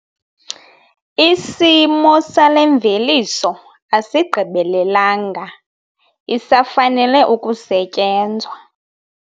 Isimo sale mveliso asigqibelelanga isafanele ukusetyenzwa.